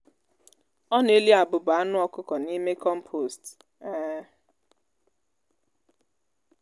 ọ na-eli abụba anụ ọkụkọ n'ime kọmpost. um